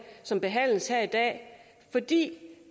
som behandles her i dag fordi det